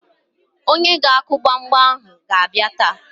Onye ga-akụ gbamgbam ahụ ga-abịa taa.